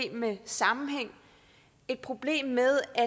med sammenhæng et problem med at